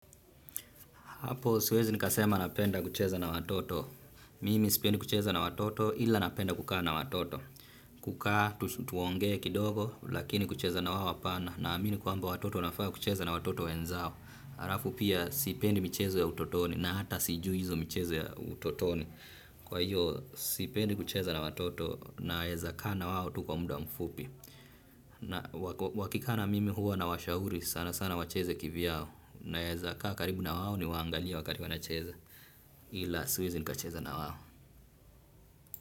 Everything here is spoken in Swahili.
Hapo siwezi nikasema napenda kucheza na watoto. Mimi sipendi kucheza na watoto ila napenda kukaa na watoto. Kukaa, tuongee kidogo, lakini kucheza na wao hapana. Na amini kwamba watoto wanafaa kucheza na watoto wenzao. Arafu pia sipendi michezo ya utotoni na hata sijui hizo michezo ya utotoni. Kwa hiyo, sipendi kucheza na watoto naeza kaa na wao tu kwa muda mfupi. Wakikana mimi huwa na washauri sana sana wacheze kivyao. Naeza kaa karibu na wao ni waangalie wakati wanacheza ila siwezi nika cheza na wao.